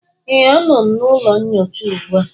Ee, a nọ m n'ụlọ nyocha ugbu a